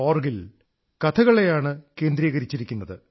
org ൽ കഥകളെയാണ് കേന്ദ്രീകരിച്ചിരിക്കുന്നത്